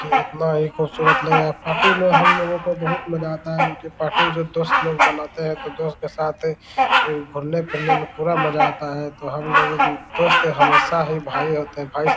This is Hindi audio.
ये इतना ही खूबसूरत लगा पार्टी में हम लोग को बहुत मज़ा आता है और उनकी पार्टी जो दोस्त लोग मानते है तो दोस्त के साथ घुमने-फिरने में मज़ा आता है तो हम दोस्त हमेशा ही भाई होते है भाई --